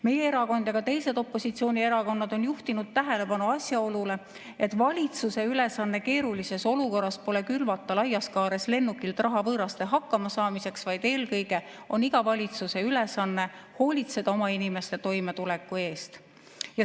Meie erakond ja ka teised opositsioonierakonnad on juhtinud tähelepanu asjaolule, et valitsuse ülesanne keerulises olukorras pole külvata laias kaares lennukilt raha võõraste hakkamasaamiseks, vaid eelkõige on iga valitsuse ülesanne hoolitseda oma inimeste toimetuleku eest.